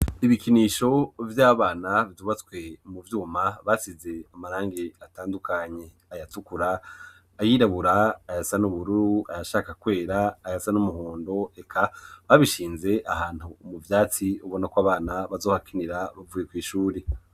Ibikinisho vy'abana vyubatswe mu vyuma basize amarangi atandukanye, ayatukura, ayirabura, ayasa n'ubururu, ayashaka kwera, ayasa n'umuhondo, reka babishinze ahantu mu vyatsi ubona ko abana bazohakinira bavuye kw'ishure.